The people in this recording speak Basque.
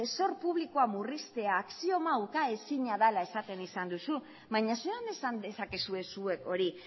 zor publikoa murriztea axioma ukaezina dela esan duzu baina zelan esan dezakezue zuek hori